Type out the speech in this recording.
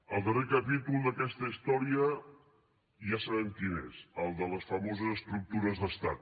el darrer capítol d’aquesta història ja sabem quin és el de les famoses estructures d’estat